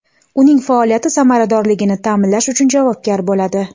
uning faoliyati samaradorligini taʼminlash uchun javobgar bo‘ladi;.